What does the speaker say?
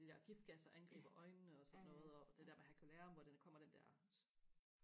de der giftgasser angriber øjnene og sådan noget og det der hvor herculaneum hvor der kommer den der